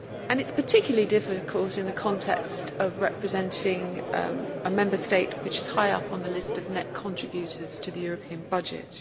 It is particularly difficult in the context of representing a Member State which is high up on the list of net contributors to the European budget.